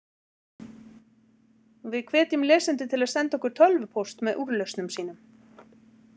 Við hvetjum lesendur til að senda okkur tölvupóst með úrlausnum sínum.